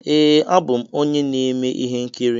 Ee, abụ m onye na-eme ihe nkiri.